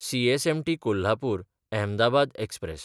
CSMT कोल्हापूर–अहमदाबाद express